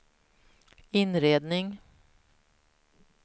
inredning